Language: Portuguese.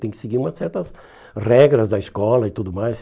Tem que seguir umas certas regras da escola e tudo mais.